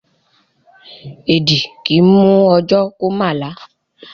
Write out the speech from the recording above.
Èẹ̀dì kì í mú ọ̣jọ́ kó má là.